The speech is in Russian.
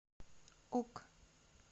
кук